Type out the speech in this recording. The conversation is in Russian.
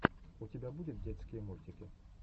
у тебя будет детские мультики